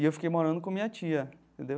E eu fiquei morando com minha tia, entendeu?